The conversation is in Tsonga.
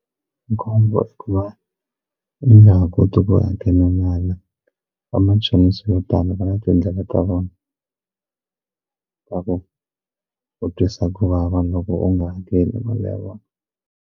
Khombo i ku va ni nga ha koti ku hakela mali vamachonisa vo tala va na tindlela ta vona ta ku ku twisa ku vava loko u nga hakeli mali ya vona.